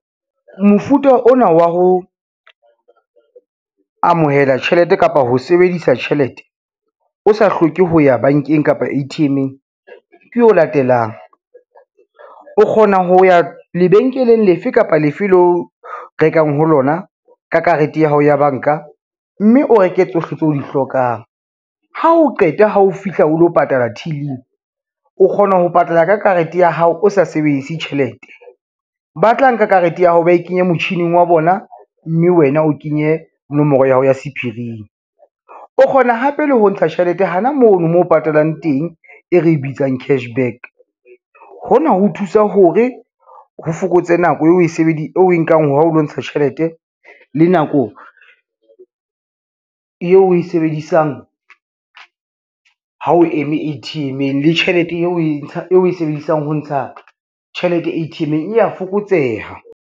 Mofuta ona wa ho amohela tjhelete kapa ho sebedisa tjhelete, o sa hloke ho ya bankeng kapa A_T_M-eng ke o latelang, o kgona ho ya lebenkeleng lefe kapa lefe leo rekang ho lona ka karete ya hao ya banka, mme o reke tsohle tseo o di hlokang, ha o qeta ha o fihla o lo patala till-ing o kgona ho patala ka karete ya hao o sa sebedise tjhelete, ba tla nka karete ya hao ba e kenye motjhining wa bona, mme wena o kenye nomoro ya hao ya sephiring. O kgona hape le ho ntsha tjhelete hana mono moo o patalang teng e re bitsang cash back, hona ho thusa hore ho fokotse nako o e nkang hao lo ntsha tjhelete le nako yeo e sebedisang ha o eme A_T_M-eng le tjhelete o e sebedisang ho ntsha tjhelete A_T_M-eng ya fokotseha.